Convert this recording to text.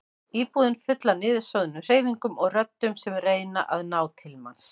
Íbúðin full af niðursoðnum hreyfingum og röddum sem reyna að ná til manns.